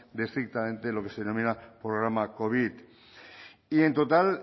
de estrictamente lo que se denomina programa covid y en total